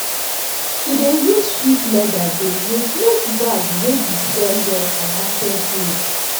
she dey use sheep leather dey make make bag wey de sell well for market days